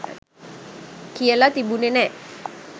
කියල තිබුණේ නෑ.